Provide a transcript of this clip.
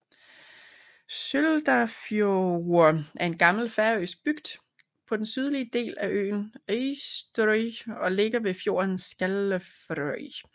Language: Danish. Søldarfjørður er en gammel færøsk bygd på den sydlige del af øen Eysturoy og ligger ved fjorden Skálafjørður